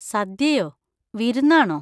സദ്യയോ? വിരുന്നാണോ?